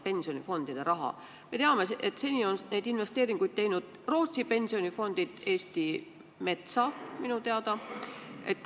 Seni on Rootsi pensionifondid teinud investeeringuid Eesti metsa, minu teada.